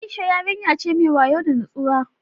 Aisha yarinya ce mai wayo da nutsuwa